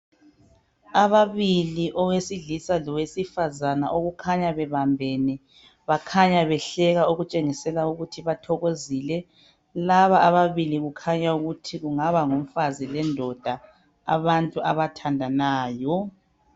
Ababili owesilisa lowesifazana okukhanya bebambene. Bakhanya behleka okutshengisela ukuthi bathokozile. Laba ababili kukhanya ukuthi kungaba ngumfazi lendoda abantu abathandanayo.